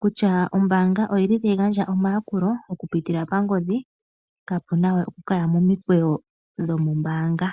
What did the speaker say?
kutya ombaanga ota yi gandja omayakulo okupitila mongodhi kaapunawe okuya momikweyo dho mombaanga.